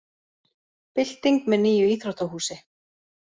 Bylting með nýju íþróttahúsi